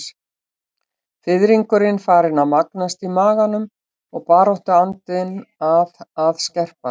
Fiðringurinn farinn að magnast í maganum og baráttuandinn að að skerpast.